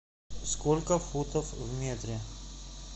сколько футов в метре